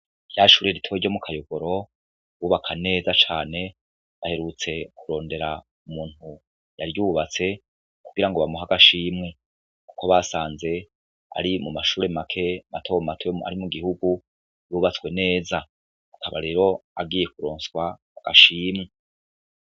Rya shure ritoyi ryo mu Kayogoro bubaka neza cane baherutse kurondera umuntu yaryubatse kugira ngo bamuhe agashimwe, kuko basanze ari mu mashure make mato mato ari mu gihugu yubatswe neza, akaba rero agiye kuronswa agashimwe.